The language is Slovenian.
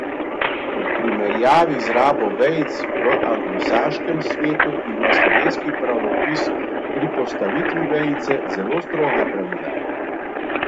V primerjavi z rabo vejic v anglosaškem svetu ima slovenski pravopis pri postavitvi vejice zelo stroga pravila.